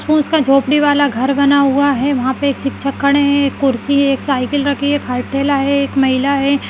उसका झोपड़ी वाला घर बना हुआ है वहाँ पर एक शिक्षक खड़े है एक कुर्सी है एक साइकिल रखी है महिला है।